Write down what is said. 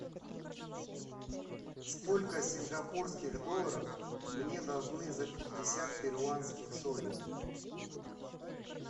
сколько сингапурских долларов мне должны за пятьдесят перуанских солей